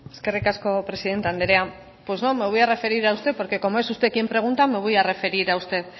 eskerrik asko presidente andrea pues no me voy a referir a usted porque como es usted quien pregunta me voy a referir a usted